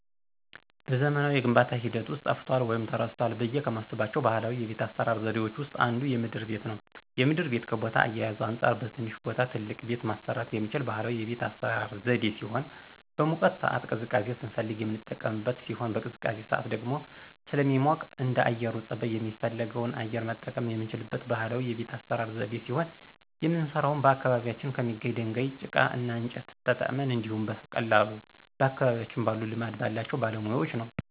በዘመናዊ የግንባታ ሂደት ውስጥ ጠፍቷል ወይም ተረስቷል ብዬ ከማስባቸው ባህላዊ የቤት አሰራር ዘዴዎች ውስጥ አንዱ የምድር ቤት ነው። የምድር ቤት ከቦታ አያያዙ አንፃር በትንሽ ቦታ ትልቅ ቤት ማሰራት የሚችል ባህላዊ የቤት አሰራር ዘዴ ሲሆን በሙቀት ሳዓት ቅዝቃዜ ስንፈልግ የምንቀመጥበት ሲሆን በቅዝቃዜ ሳዓት ደግሞ ደግሞ ስለሚሞቅ እንደአየሩ ፀባይ የፈለግነውን አየር መጠቀም የምንችልበት ባህላዊ የቤት አሰራር ዘዴ ሲሆን የምንሰራውም በአካባቢያችን ከሚገኝ ድንጋይ፣ ጭቃ እና እንጨት ተጠቅመን እንዲሁኝ በቀላሉ በአካባቢያችን ባሉ ልማድ ያላቸው ባለሙያወች ነው።